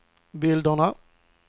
bilderna